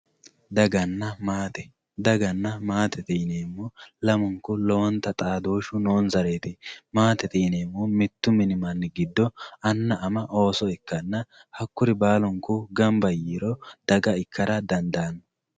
Daaganna maatte daaganna maattette yinemo laamunku loowontta xaadoshu nonsaretti maattette yineemohu mittu minni manni giddo anna amma oosso ikkanna haakurri baalunku gaanbba yiro daagga ikkara daandano